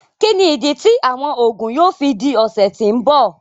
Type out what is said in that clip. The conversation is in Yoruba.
Kíni idí tí awọn oogun yóò fí dí ọsẹ tí n bọ?